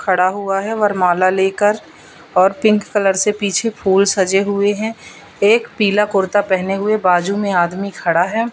खड़ा हुआ हैं वरमाला लेकर और पिंक कलर से पीछे फूल सजे हुए हैं एक पीला कुर्ता पहने हुए बाजू में आदमी खड़ा हैं।